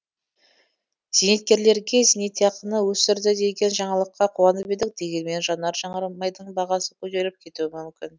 зейнеткерлерге зейнетақыны өсірді деген жаңалыққа қуанып едік дегенмен жанар жағармайдың бағасы көтеріліп кетуі мүмкін